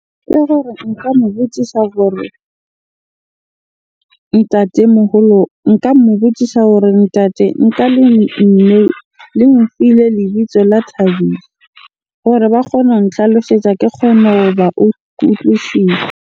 Ke gore nka mo butsisa hore ntatemoholo, nka mo botsisa hore ntate nka mme le mo file lebitso la Thabiso hore ba kgone ho nhlalosetsa ke kgone utlwisisa.